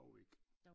Dog ikke